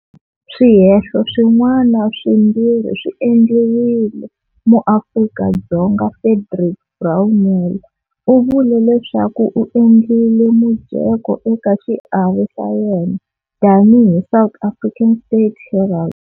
Swihehlo swin'wana swimbirhi swi endliwile-muAfrika-Dzonga Frederick Brownell u vule leswaku u endlile mujeko eka xiave xa yena tani hi South African State Herald.